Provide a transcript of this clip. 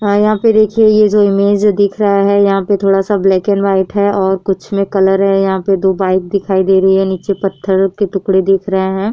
अ यहां पे देखिये ये जो इमेज दिख रहा है। यहां पर थोड़ा सा ब्लैक एंड व्हाइट है और कुछ में कलर है। यहां पर दो बाइक दिखाई दे रही है। नीचे पत्थर के टुकडे दिख रहे हैं।